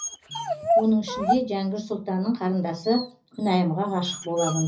оның ішінде жәңгір сұлтанның қарындасы күнайымға ғашық боламын